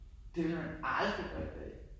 Det ville man aldrig gøre i dag!